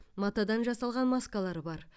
матадан жасалған маскалар бар